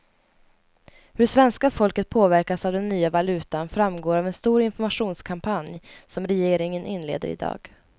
Hur svenska folket påverkas av den nya valutan framgår av en stor informationskampanj som regeringen inleder i dag.